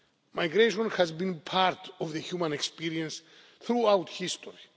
rights. Migration has been part of the human experience throughout history.